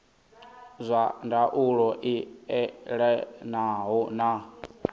zwa ndaulo i elanaho na